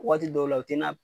Waati dɔw la o tɛ na